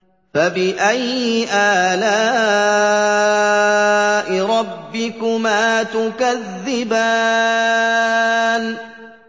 فَبِأَيِّ آلَاءِ رَبِّكُمَا تُكَذِّبَانِ